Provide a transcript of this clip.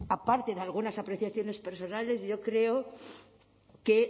aparte de algunas apreciaciones personales yo creo que